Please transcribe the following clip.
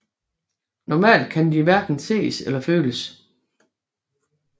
Normalt kan de hverken ses eller føles